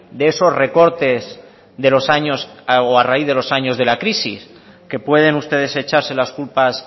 de esos recortes de los años o a raíz de los años de la crisis que pueden ustedes echarse las culpas